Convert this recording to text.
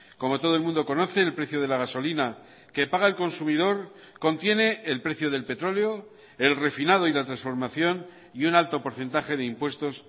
como todo el mundo conoce el precio de la gasolina que paga el consumidor contiene el precio del petróleo el refinado y la transformación y un alto porcentaje de impuestos